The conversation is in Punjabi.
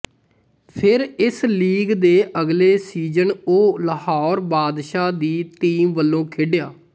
ਫਿਰ ਇਸ ਲੀਗ ਦੇ ਅਗਲੇ ਸੀਜਨ ਉਹ ਲਾਹੌਰ ਬਾਦਸ਼ਾਹ ਦੀ ਟੀਮ ਵੱਲੋਂ ਖੇਡਿਆ